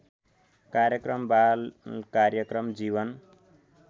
कार्यक्रम बालकार्यक्रम जीवन